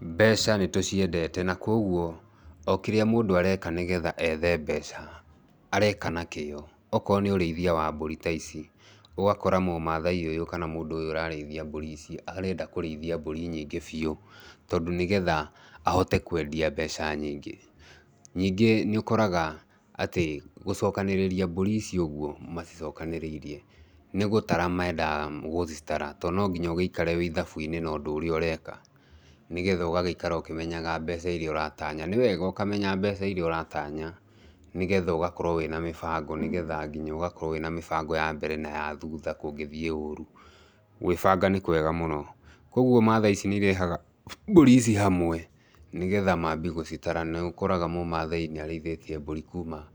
Mbeca nĩ tũciendete na koguo okĩrĩa mũndũ areka nĩgetha ethe mbeca areka na kĩoo, okorwo nĩ ũreithia wa mbũri ta ici. ũgakora mũmaathai ũyũ, kana mũndũ ũyũ ũrareithia mbũri ici arenda kũreithia mbũri nyingĩ biu tondũ nĩgetha ahote kwendia mbeca nyingĩ. Nyingĩ nĩ ũkoraga atĩ gũcokanĩrĩria mbũri ici ũguo macicokanĩrĩirie, nĩ gũtara mendaga gũcitara, tondũ no nginya woikare wĩ ithabu-inĩ na ũndũ ũrĩa ũreka nĩgetha ũgagĩikara ũkĩmenyaga mbeca iria ũratanya. Nĩ wega ũkamenya mbeca iria ũratanya nĩgetha ũgakorwo wĩna mĩbango, nĩgetha nginya ũgakorwo wĩna mĩbango ya mbere na ya thutha kũngĩthiĩ ũru. Gwĩbanga nĩ kwega mũno. Koguo maathai ici nĩ irehaga mbũri ici hamwe nĩgetha mambie gũcitara. Nĩ ũkoraga mũmaathai nĩ arĩithĩtie mbũri kuuma